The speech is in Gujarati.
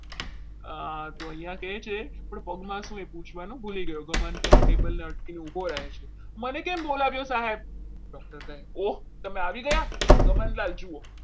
અને અહીંયા કહે છે કે પગમાં શું પૂછવાનું ભૂલી ગયો ગમન ક્યાં છે table પાસે ઉભો રહે છે મને કેમ બોલાવી સાહેબ doctor કહેવું તમે આવી ગયા ગમનલાલ જુઓ.